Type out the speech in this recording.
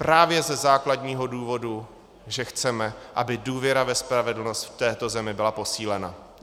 Právě ze základního důvodu, že chceme, aby důvěra ve spravedlnost v této zemi byla posílena.